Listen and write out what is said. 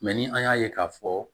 Mɛ ni an y'a ye k'a fɔ